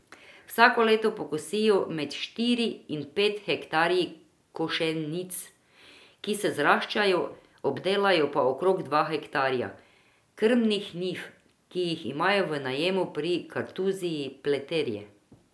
Vsako leto pokosijo med štiri in pet hektarji košenic, ki se zaraščajo, obdelajo pa okrog dva hektarja krmnih njiv, ki jih imajo v najemu pri kartuziji Pleterje.